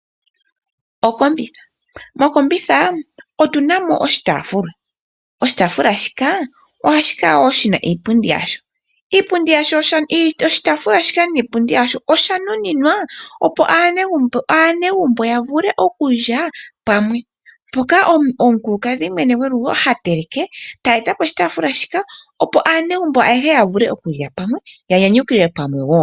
Mokombitha otuna mo oshitaafula , ohashi kala wo shina iipundi yasho. Oshitaafula shika niipundi yasho oya nuninwa opo aanegumbo yavule okulya pamwe. Omukulukadhi gwegumbo mwene oha teleke, ete eta poshitaafula mpoka opo pamwe aanegumbo yalile nokunyukilwa pamwe